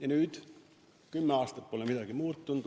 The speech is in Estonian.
Aga nüüd kümme aastat pole midagi muutunud.